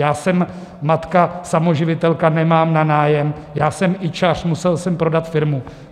Já jsem matka samoživitelka, nemám na nájem, já jsem ičař, musel jsem prodat firmu.